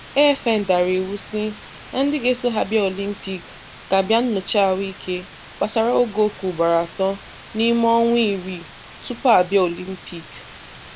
AFN dàrà ìwù sị na ndị ga-eso ha bịa Ọlympìk ga abịa nnọchà ahụìke gbasàrà ògòọkè ùgboro atọ n’ime ọnwa ìrì túpùù ha abịa Ọlympìk